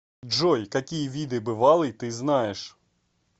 джой какие виды бывалый ты знаешь